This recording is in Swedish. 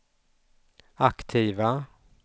aktiva